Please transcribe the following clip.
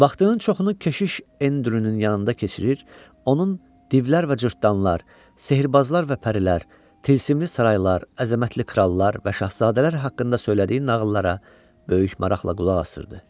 Vaxtının çoxunu keşiş Endrünün yanında keçirir, onun divlər və cırtdanlar, sehrbazlar və pərilər, tilsimli saraylar, əzəmətli krallar və şahzadələr haqqında söylədiyi nağıllara böyük maraqla qulaq asırdı.